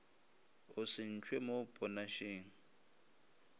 o se ntšhwe mo ponašeng